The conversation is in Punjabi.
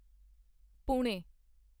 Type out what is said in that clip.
ਪੁਣੇ